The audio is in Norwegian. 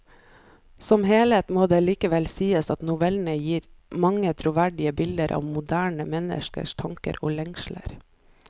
Som helhet må det likevel sies at novellene gir mange troverdige bilder av moderne menneskers tanker og lengsler.